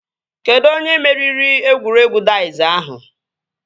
Kedụ onye meriri egwuregwu daiz ahụ?